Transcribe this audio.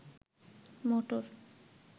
মটর